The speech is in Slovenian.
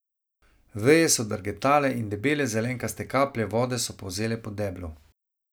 Veje so drgetale in debele zelenkaste kaplje vode so polzele po deblu.